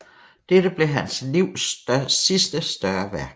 Dette blev hans livs sidste større værk